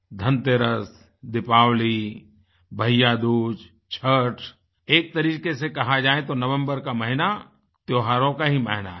धनतेरस दीपावली भैय्यादूज छठ एक तरीके से कहा जाए तो नवम्बर का महीना त्योहारों का ही महीना है